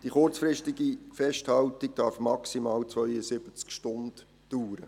Die kurzfristige Festhaltung darf maximal 72 Stunden dauern.